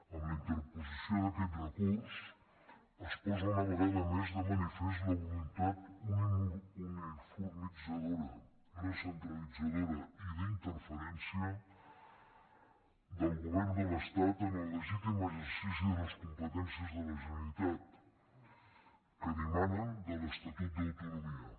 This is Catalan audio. amb la interposició d’aquest recurs es posa una vegada més de manifest la voluntat uniformitzadora recentralitzadora i d’interferència del govern de l’estat en el legítim exercici de les competències de la generalitat que dimanen de l’estatut d’autonomia